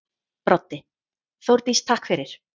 Broddi: Þórdís takk fyrir.